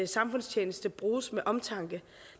samfundstjeneste bruges med omtanke